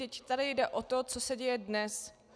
Vždyť tady jde o to, co se děje dnes.